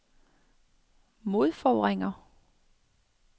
modforvrænger